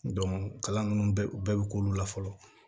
kalan ninnu bɛɛ u bɛɛ bɛ k'olu la fɔlɔ